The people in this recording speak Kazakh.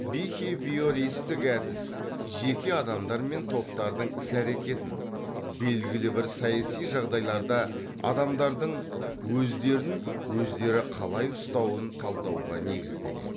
бихевиористік әдіс жеке адамдар мен топтардың іс әрекетін белгілі бір саяси жағдайларда адамдардың өздерін өздері қалай ұстауын талдауға негізделеді